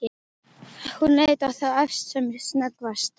Hún leit á þá efstu sem snöggvast.